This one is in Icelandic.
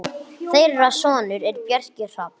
Þeirra sonur er Bjarki Hrafn.